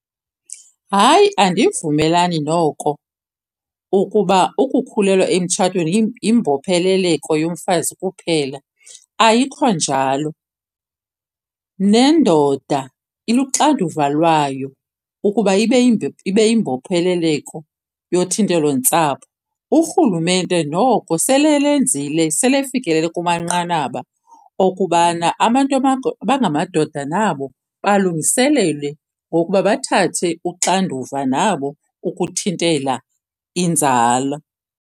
Hayi, andivumelani noko ukuba ukukhulelwa emtshatweni yimbopheleleko yomfazi kuphela. Ayikho njalo. Nendoda iluxanduva lwayo ukuba ibe ibe yimbopheleleko yothintelo-ntsapho. Urhulumente noko sele elenzile sele efikelele kumanqanaba okubana abantu abangamadoda nabo balungiselelwe ngokuba bathathe uxanduva nabo ukuthintela inzala.